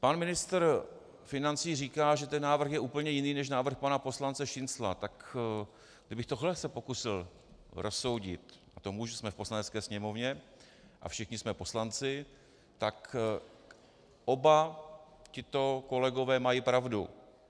Pan ministr financí říká, že ten návrh je úplně jiný než návrh pana poslance Šincla, tak kdybych tohle se pokusil rozsoudit, a to můžu, jsme v Poslanecké sněmovně a všichni jsme poslanci, tak oba tito kolegové mají pravdu.